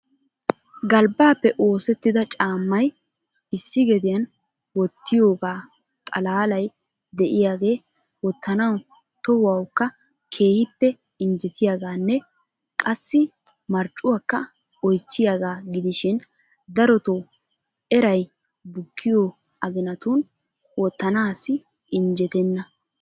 Galbbappe oosettida caammay issi gediyaan wottiyooga xalaalay de'iyaagee wottanaw tohuwawukka keehippe injjetiyaaganne qassi daro marccuwakka oychchiyaaga gidishin darotoo eray bukkiyo aginatun wottanassi injjetena.